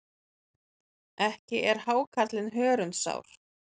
Ekki er hákarlinn hörundsár.